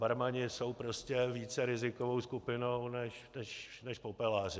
Barmani jsou prostě více rizikovou skupinou než popeláři.